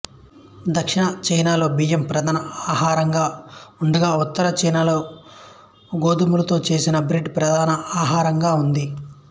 దక్షిణచైనాలో బియ్యం ప్రధాన ఆహారంగా ఉండగా ఉత్తర చైనాలో గోధుమలతో చేసిన బ్రెడ్ ప్రధాన ఆహారంగా ఉంది